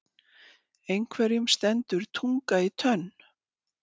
Einhverjum stendur tunga í tönn